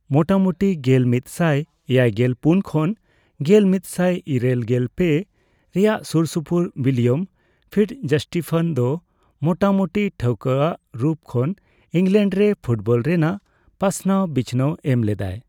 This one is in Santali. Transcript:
ᱢᱚᱴᱟᱢᱩᱴᱤ ᱜᱮᱞᱢᱤᱛ ᱥᱟᱭ ᱮᱭᱟᱭᱜᱮᱞ ᱯᱩᱱ ᱠᱷᱚᱱ ᱜᱮᱞ ᱢᱤᱛᱥᱟᱭ ᱤᱨᱟᱹᱞᱜᱮᱞ ᱯᱮ ᱨᱮᱭᱟᱜ ᱥᱩᱨᱥᱩᱯᱩᱨ ᱵᱤᱞᱤᱭᱚᱢ ᱯᱷᱤᱴᱡᱚᱥᱴᱤᱯᱷᱚᱱ ᱫᱚ ᱢᱚᱴᱟᱢᱚᱴᱤ ᱴᱷᱟᱹᱣᱠᱟᱹ ᱨᱩᱯ ᱠᱷᱚᱱ ᱤᱝᱜᱞᱮᱱᱰ ᱨᱮ ᱯᱷᱩᱴᱵᱚᱞ ᱨᱮᱱᱟᱜ ᱯᱟᱥᱱᱟᱣ ᱵᱤᱪᱷᱱᱟᱹᱣ ᱮᱢ ᱞᱮᱫᱟᱭ ᱾